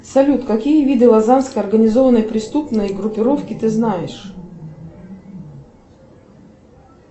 салют какие виды лазанской организованной преступной группировки ты знаешь